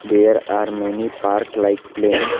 there are many park like playing.